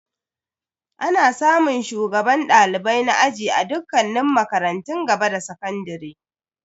Ana samun shugaban dalibai na aji a dukkanin makarantun gaba da sakandare.